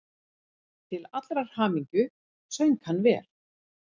Til allrar hamingju söng hann vel!